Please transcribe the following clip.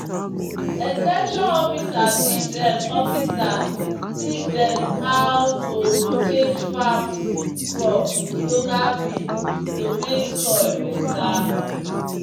"ex ten sion officer teach dem officer teach dem how to rotate farm crop with local beans to make soil better."